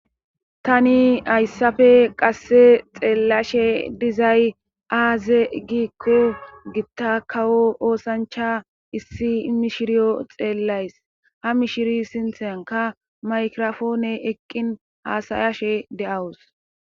Tani ayssafe qasse xeellashe dizay aaze giikko gitta kawo oosancha issi mishiriyo xeellays ha mishiri sinthenka maykirofoone eqqin haasayashe de7awus